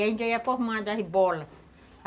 Aí a gente ia formando as bolas